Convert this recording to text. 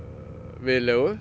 viðlegu